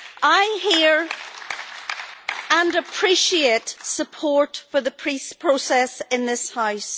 I hear and appreciate support for the peace process in this House.